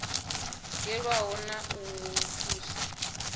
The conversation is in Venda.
yelaniho na wa u thusa